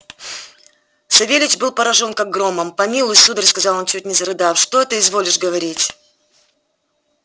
савельич был поражён как громом помилуй сударь сказал он чуть не зарыдав что это изволишь говорить